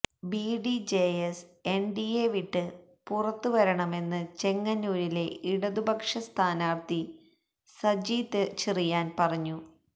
BDJS NDA വിട്ട് പുറത്ത് വരണമെന്ന് ചെങ്ങന്നൂരിലെ ഇടതുപക്ഷ സ്ഥാനാര്ത്ഥി സജി ചെറിയാന് പറഞ്ഞു